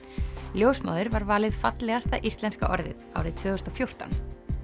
ljósmóðir var valið fallegasta íslenska orðið árið tvö þúsund og fjórtán